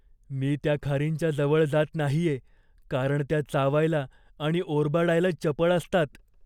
मी त्या खारींच्या जवळ जात नाहीये कारण त्या चावायला आणि ओरबाडायला चपळ असतात.